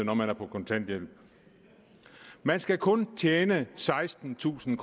kontanthjælp man skal kun tjene sekstentusind